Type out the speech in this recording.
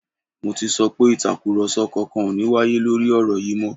Mo ti sọ pé Ìtàkùrọ̀sọ kankan ò ní wáyé lórí ọ̀rọ̀ yìí mọ́